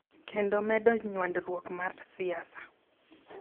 Kendo medo nywandruok mar siasa.